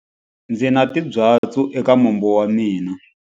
Ndzi na timbyatsu eka mombo wa mina.